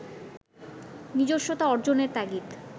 নিজস্বতা অর্জনের তাগিদ